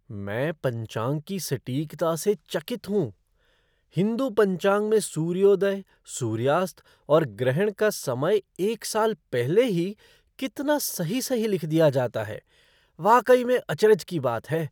मैं पंचांग की सटीकता से चकित हूँ, हिंदू पंचांग में सूर्योदय, सूर्यास्त और ग्रहण का समय एक साल पहले ही कितना सही सही लिख दिया जाता है, वाकई में अचरज की बात है।